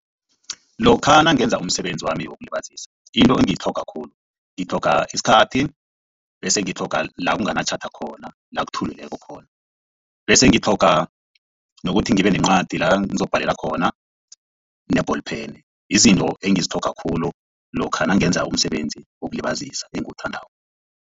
Lokha nangenza umsebenzi wami wokulibazisa into engiyitlhoga khulu ngitlhoga isikhathi bese ngitlhoga la kunganatjhada khona la kuthulileko khona bese ngitlhoga nokuthi ngibe nencwadi la ngizokubhalela khona ne-ball pen yizinto engizitlhoga khulu lokha nangenza umsebenzi wokulibazisa engiwuthandako.